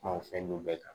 Kuma o fɛn nu bɛɛ kan